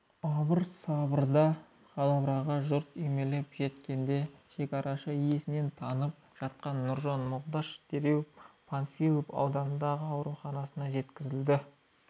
абыр-сабырдағы дабыраға жұрт үймелеп жеткенде шекарашы есінен танып жатқан нұржан молдаш дереу панфилов аудандық ауруханасына жеткізілді